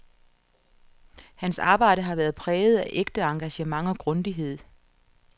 Hans arbejde har været præget af ægte engagement og grundighed.